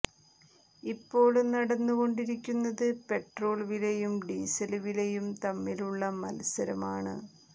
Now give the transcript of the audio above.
ഇപ്പോള് നടന്നുകൊണ്ടിരിക്കുന്നത് പെട്രോള് വിലയും ഡീസല് വിലയും തമ്മിലുള്ള മത്സരം ആണ്